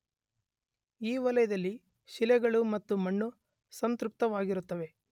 ಈ ವಲಯದಲ್ಲಿ ಶಿಲೆಗಳು ಮತ್ತು ಮಣ್ಣು ಸಂತೃಪ್ತವಾಗಿರುತ್ತವೆ.